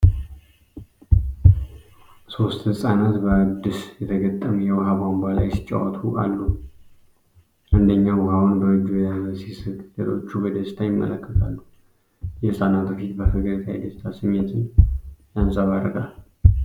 ሶስት ህጻናት በአዲስ የተገጠመ የውሃ ቧንቧ ላይ ሲጫወቱ አሉ። አንደኛው ውሃውን በእጁ እየያዘ ሲስቅ፣ ሌሎቹ በደስታ ይመለከታሉ። የህጻናቱ ፊት በፈገግታ የደስታ ስሜትን ያንጸባርቃል።